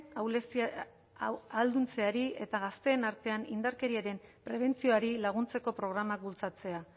ahalduntzeari eta gazteen artean indarkeriaren prebentzioari laguntzeko programak bultzatzea